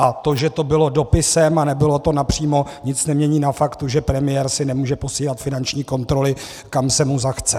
A to, že to bylo dopisem a nebylo to napřímo, nic nemění na faktu, že premiér si nemůže posílat finanční kontroly, kam se mu zachce.